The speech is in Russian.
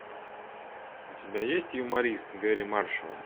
у тебя есть юморист гэрри маршалла